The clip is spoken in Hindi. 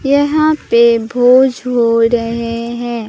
यहां पे भोज हो रहे हैं।